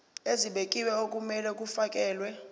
ezibekiwe okumele kufakelwe